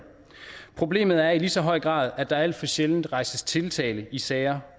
problemet er i lige så høj grad at der alt for sjældent rejses tiltale i sager